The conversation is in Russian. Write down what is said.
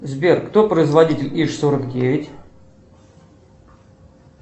сбер кто производитель иж сорок девять